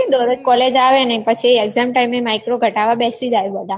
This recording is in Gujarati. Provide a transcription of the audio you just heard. દરરોજ college આવે નઈ પછી exam time એ micro ક્ઢાવા બેસી જય બધા